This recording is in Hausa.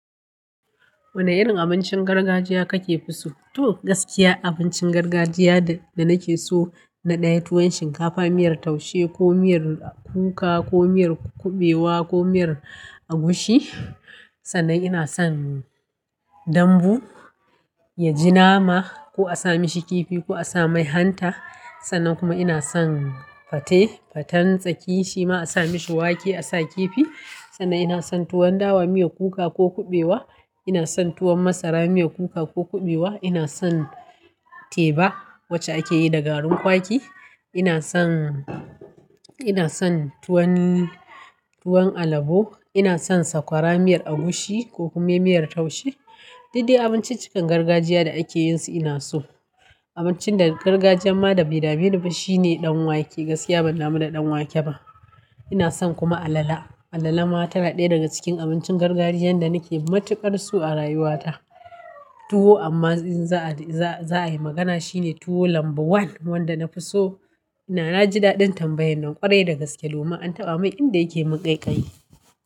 Wane irin abincin gargajiya kakefi so? To gaskiya abincin gargajiya da nake so na ɗaya tuwon shinkafa miyar taushe ko miyar kuka ko miyar kuɓewa ko miyar agushi. Sannan ina son dambu ya ji nama ko a sa mishi kifi ko a sa mai hanta. Sannan kuma ina son fate, fatan tsaki shima a sa mashi wake a sa kifi. Sannan ina son tuwon dawa miyar kuka ko kuɓewa. Ina son tuwon masara miyar kuka ko kuɓewa. Ina son teba wacce ake yi da garin kwaki. Ina son, ina son tuwon, tuwon alabo. Ina son sakwara miyar agushi ko kuma miyar taushe. Daidai abinciccikan gargajiya da ake yin su ina so. Abincin da gargajiyan ma da bai dameniba shine ɗanwake. Gaskiya ban da mu da ɗanwake ba. Ina son kuma alala. Alala ma tana ɗaya daga cikin abincin gargajiyan da nake matuƙar so a rayuwata. Tuwo amma za'a, za'a yi magana shi ne tuwo lamba one wanda na fi so. Na jin daɗin tambayan nan ƙwarai da gaske. Dommin an taɓa mun inda yake mun ƙaiƙayi.